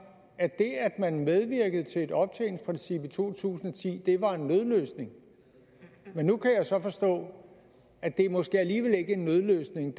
at det at man medvirkede til et optjeningsprincip i to tusind og ti var en nødløsning men nu kan jeg så forstå at det måske alligevel ikke er en nødløsning